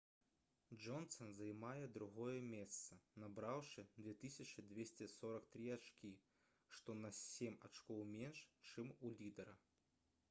джонсан займае другое месца набраўшы 2243 ачкі што на сем ачкоў менш чым у лідэра